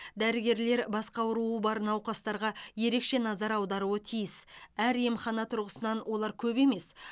дәрігерлер басқа ауруы бар науқастарға ерекше назар аударуы тиіс әр емхана тұрғысынан олар көп емес